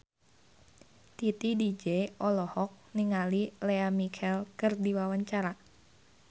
Titi DJ olohok ningali Lea Michele keur diwawancara